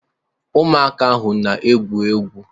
Ụmụaka ahụ na-egwu egwu